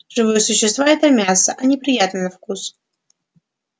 живые существа это мясо они приятны на вкус